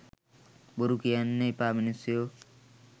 බොරු කියන්න එපා මනුස්සයෝ.